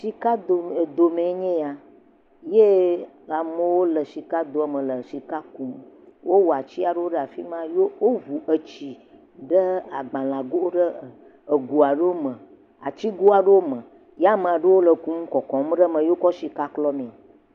Sikado edo mee nye yee amewo le sikadoa me le sika kum. Wowɔ ati aɖewo ɖe afi ma ye woŋu etsi ɖe agbalego ɖe egoa ɖewo me atigo aɖewo me ye ame aɖewo le kum kɔkɔm ɖe eme ye wokɔ sika klɔmee.